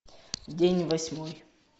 день восьмой